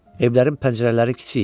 Evlərin pəncərələri kiçik idi.